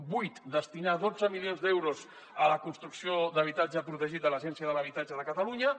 vuit destinar dotze milions d’euros a la construcció d’habitatge protegit de l’agència de l’habitatge de catalunya